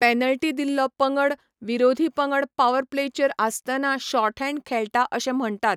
Penalty दिल्लो पंगड विरोधी पंगड पॉवर प्लेचेर आसतना शॉर्टहॅंड खेळटा अशें म्हण्टात.